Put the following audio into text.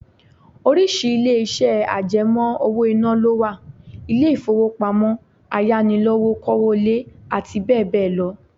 Oríṣi ilé iṣẹ́ àjẹmó owó-ìná lọ wà; ilé ifowopamo, Ayánilówókọ́lé, àti bẹẹ bẹẹ lọ.